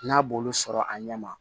N'a b'olu sɔrɔ a ɲɛ ma